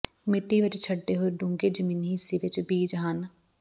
ਮਿੱਟੀ ਵਿੱਚ ਛੱਡੇ ਹੋਏ ਡੂੰਘੇ ਜ਼ਮੀਨੀ ਹਿੱਸੇ ਵਿੱਚ ਬੀਜ ਹਨ